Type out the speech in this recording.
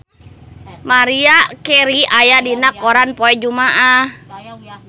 Maria Carey aya dina koran poe Jumaah